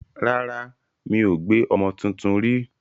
Rárá, mi ò gbé ọmọ tuntun rí.